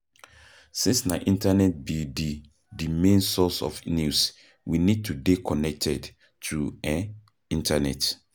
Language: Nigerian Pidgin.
Since na internet be di di main source of news, we need to dey connected to um internet